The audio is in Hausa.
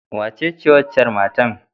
Wace waccar matan?